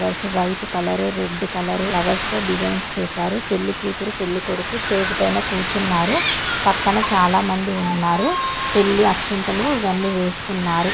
White colour red colour flowers తో design చేశారు. పెళ్లి కూతురు పెళ్లి కొడుకు స్టేజ్ పైన కూర్చున్నారు. పక్కన చాలామంది ఉన్నారు. పెళ్లి అక్షంతులు ఇవ్వన్ని వేస్తున్నారు.